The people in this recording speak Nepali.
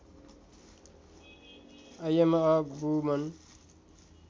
I am a woman